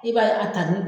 I b'a ye a tali